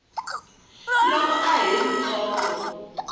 loko a ha ri ntsongo